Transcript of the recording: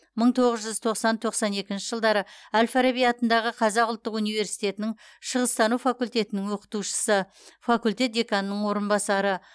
мың тоғыз жүз тоқсан тоқсан екінші жылдары әл фараби атындағы қазақ ұлттық университетінің шығыстану факультетінің оқытушысы факультет деканының орынбасары